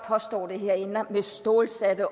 påstår det med stålsat